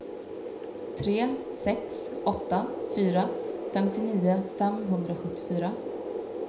tre sex åtta fyra femtionio femhundrasjuttiofyra